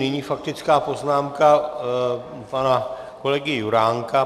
Nyní faktická poznámka pana kolegy Juránka.